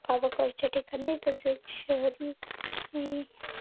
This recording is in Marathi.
गावाकडच्या ठिकाणी तसेच शहरी